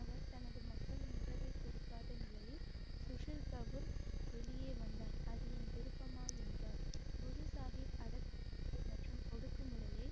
அவர் தனது மக்களின் உறவைக் கொடுக்காத நிலையில் சுசில் கபூர் வெளியே வந்தார் அது என் விருப்பமா என்றார் குரு சாஹிப் அடக்கம் மற்றும் ஒடுக்குமுறையை